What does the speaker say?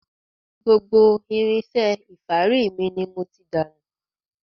Gbogbo irinṣẹ́ ìfárí mi ni mo ti dànù.